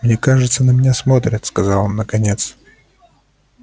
мне кажется на меня смотрят сказал он наконец